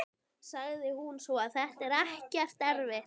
sagði hún svo: Þetta er ekkert eftir þig!